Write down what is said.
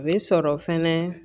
A bɛ sɔrɔ fɛnɛ